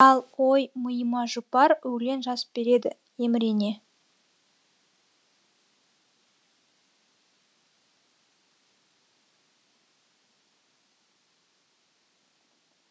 ал ол мыйыма жұпар өлең жазып береді емірене